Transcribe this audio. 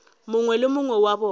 mongwe le mongwe wa bona